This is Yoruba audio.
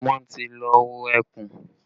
Wọ́n ti lọ wo ẹkùn